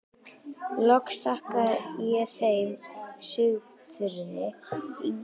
Loks þakka ég þeim Sigþrúði Ingimundardóttur, Helgu Láru Helgadóttur